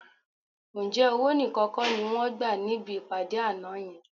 Ǹjẹ́ owó nìkan kọ́ ni wọ́n gbà níbi ìpàdé àná yẹn?